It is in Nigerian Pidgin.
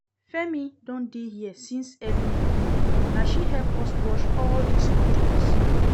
Femi don dey here since early morning, na she help us wash all dis curtains